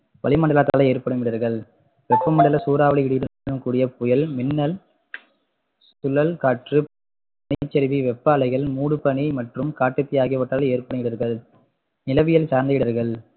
வளிமண்டலத்தால் ஏற்படும் இடர்கள் வெப்பமண்டல சூறாவளி இடியுடன் கூடிய புயல், மின்னல், சுழல் காற்று, நிலச்சரிவு, வெப்ப அலைகள், மூடுபனி மற்றும் காட்டுத்தீ ஆகியவற்றால் ஏற்படும் இடர்கள் நிலவியல் சார்ந்த இடர்கள்